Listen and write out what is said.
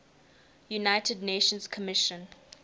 united nations commission